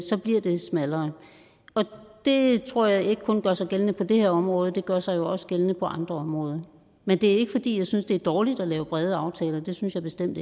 så bliver det smallere og det tror jeg ikke kun gør sig gældende på det her område det gør sig jo også gældende på andre områder men det er ikke fordi jeg synes det er dårligt at lave brede aftaler det synes jeg bestemt